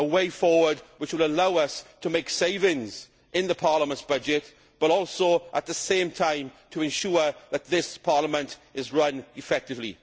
a way forward which would allow us to make savings in the Parliament's budget but also at the same time to ensure that this Parliament is run effectively.